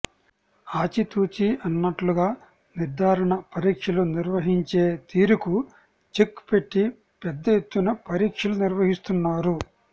ఆచితూచి అన్నట్లుగా నిర్దారణ పరీక్షలు నిర్వహించే తీరుకు చెక్ పెట్టి పెద్ద ఎత్తున పరీక్షలు నిర్వహిస్తున్నారు